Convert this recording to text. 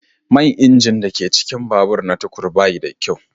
Man injin da ke cikin babur na tukur ba shi da kyau.